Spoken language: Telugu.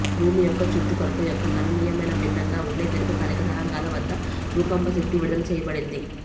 భూమి యొక్క చుట్టుకొలత యొక్క గణనీయమైన భిన్నంగా ఉండే దీర్ఘకాలిక తరంగాల వద్ద భూకంప శక్తి విడుదల చేయబడింది